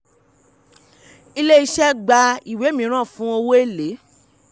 ilé-iṣẹ́ gba ìwé mìíràn fún owó èlé.